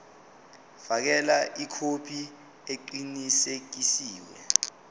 fakela ikhophi eqinisekisiwe